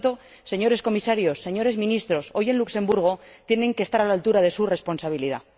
Por tanto, señores Comisarios, señores Ministros, hoy en Luxemburgo tienen que estar a la altura de su responsabilidad.